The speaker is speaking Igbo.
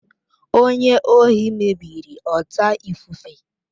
Onye ohi mebiri ọta ifufe.